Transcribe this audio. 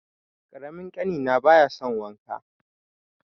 Ƙaramin ƙanina baya son wanka.